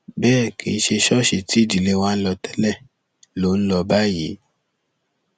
bẹẹ kì í ṣe ṣọọṣì tí ìdílé wa ń lọ tẹlẹ ló ń lọ báyìí